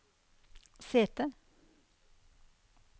sete